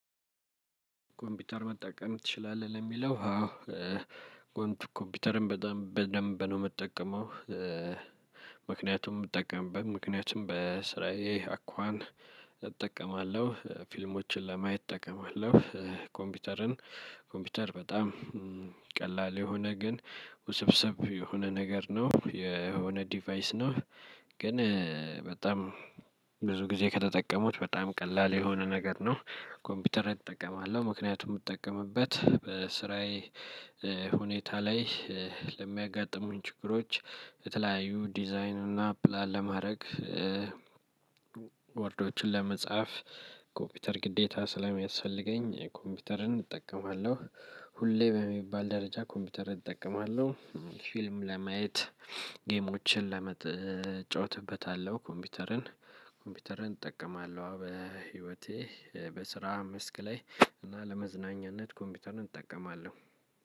ኮምፒውተር መጠቀም ትችላለህ? ለሚለው አዎ ኮምፒውተርም በደንብ ነው የምጠቀመው። ምክንያቱም ምጠቀምበት ምክንያቱም በስራዬ አኳን እጠቀማለሁ ፊልሞችን ለማየት እጠቀማለሁ። ኮምፒውተርን ኮምፒውተር በጣም ቀላል የሆነ ግን ውስብስብ የሆነ ነገር ነው የሆነ ዲቫይስ ነው። ግን በጣም ብዙ ጊዜ ከተጠቀሙት በጣም ቀላል የሆነ ነገር ነው። ኮምፒውተር እጠቀማለሁ ምክንያቱም የምጠቀምበት በስራዬ ሁኔታ ላይ ለሚያጋጥሙኝ ችግሮች በተለያዩ ዲዛይኑን እና ፕላን ለማድረግ ወርዶችን ለመጻፍ ኮምፒውተር ግዴታ ስለሚያስፈልገኝ ኮምፒውተርን እጠቀማለሁ። ሁሌ በሚባል ደረጃ ኮምፒውተር እጠቀማለሁ ፊልም ለማየት ጌሞችን ለመጥ እጫወትበታለሁ። ኮምፒውተርን ኮምፒውተርን እጠቀማለሁ በህይወቴ በስራ መስክ ላይ እና ለመዝናኛነት ኮምፒውተርን እጠቀማለሁ።